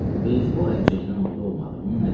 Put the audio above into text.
Beysbol əlcəyindən oldu olmadı, bunun nə dəxli?